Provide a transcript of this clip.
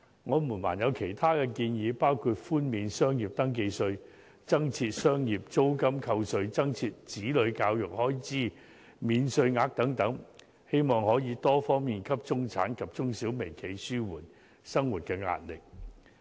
我們還有其他建議，包括寬免商業登記費、增設商業租金扣稅、增設子女教育開支免稅額等，希望可以多方面紓緩中產及中小微企的生活壓力。